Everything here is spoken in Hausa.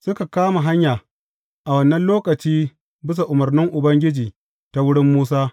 Suka kama hanya, a wannan lokaci, bisa umarnin Ubangiji, ta wurin Musa.